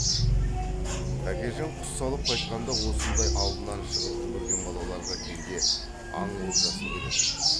тәкежан құс салып қайтқанда осындай алдынан шығып жүгірген балаларға кейде аң олжасын беретін